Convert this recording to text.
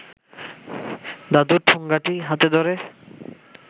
দাদু ঠোঙাটি হাতে ধরে